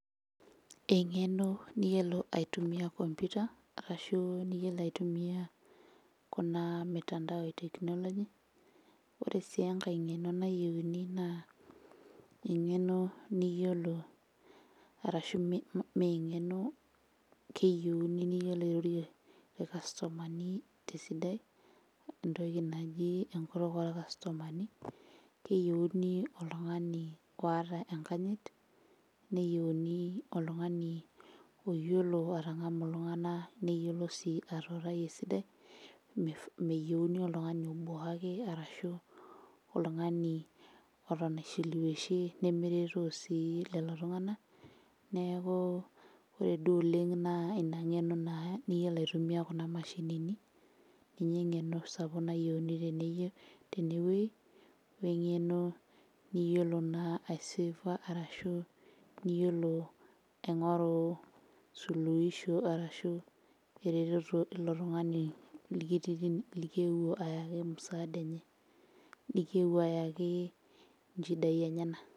Eng'eno niyiolo aitumia computer arashu niyiolo aitumia kuna mitandao e technology ore sii enkae nayieuni naa eng'eno niyiolo arashu me meng'eno keyieuni niyiolo airorie irkastomani tesidai entoki naji enkutuk orkastomani keyieuni oltung'ani oata enkanyit neyieni oltung'ani oyiolo atang'amu iltung'ana neyiolo sii atuutai esidai mif meyieuni oltung'ani obuaki arashu oltung'ani oton aishiliweishie nemeretoo sii lelo tung'ana neeku ore duo oleng naa ina ng'eno naa niyiolo aitumia kuna mashinini ninye eng'eno sapuk nayieuni teneyio tenewueji weng'eno niyiolo naa aisefa arashu iyiolo aing'oru suluisho arashu ereteto ilo tung'ani likiti likiyewuo ayaki msaada enye nikieuo ayaki inchidai enyenak.